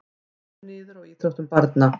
Kemur niður á íþróttum barna